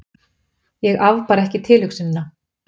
Ég afbar ekki tilhugsunina.